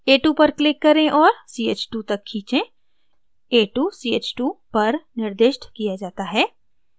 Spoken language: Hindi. a2 पर click करें और ch2 तक खींचें a2 ch2 पर निर्दिष्ट किया जाता है